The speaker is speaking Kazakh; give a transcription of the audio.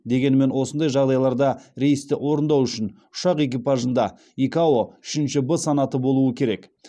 дегенмен осындай жағдайларда рейсті орындау үшін ұшақ экипажында икао үшінші в санаты болуы керек